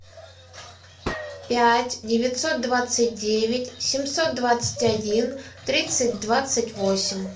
пять девятьсот двадцать девять семьсот двадцать один тридцать двадцать восемь